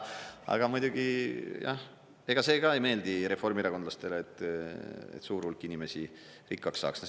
Aga muidugi, jah, ega see ka ei meeldi reformierakondlastele, et suur hulk inimesi rikkaks saaks.